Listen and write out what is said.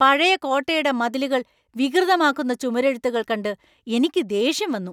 പഴയ കോട്ടയുടെ മതിലുകൾ വികൃതമാക്കുന്ന ചുമരെഴുത്തുകൾ കണ്ട് എനിക്ക് ദേഷ്യം വന്നു.